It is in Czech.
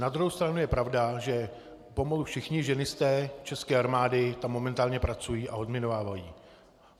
Na druhou stranu je pravda, že pomalu všichni ženisté české armády tam momentálně pracují a odminovávají.